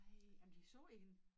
Ej jamen de så i hende?